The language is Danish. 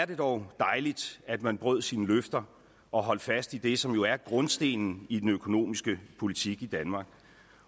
det dog dejligt at man brød sine løfter og holdt fast i det som jo er grundstenen i den økonomiske politik i danmark